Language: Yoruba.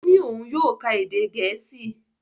Ó ní òun yóò ká èdè Gẹ̀ẹ́sì